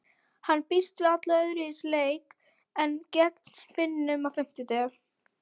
Hann býst við allt öðruvísi leik en gegn Finnum á fimmtudag.